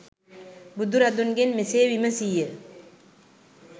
බුදුරදුන්ගෙන් මෙසේ විමසී ය.